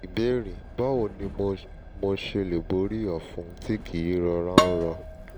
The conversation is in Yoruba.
ìbéèrè: báwo ni mo mo ṣe lè borí ọ̀fun tí kì í rọra ń rọ?